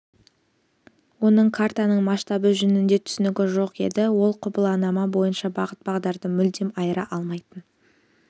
оның картаның масштабы жөнінде түсінігі жоқ еді ол құбыланама бойынша бағыт-бағдарды мүлдем айыра алмайтын